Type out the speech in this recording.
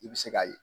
I bɛ se k'a ye